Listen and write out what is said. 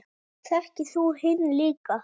Þekktir þú hinn líka?